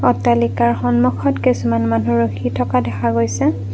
অট্টালিকাৰ সন্মুখত কিছুমান মানুহ ৰখি থকা দেখা গৈছে।